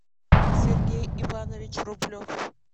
сергей иванович рублев